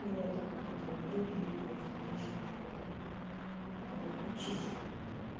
или это какие-то другие курсы или ещё что-то вот учись